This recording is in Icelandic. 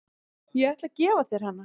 Ég ætla að gefa þér hana.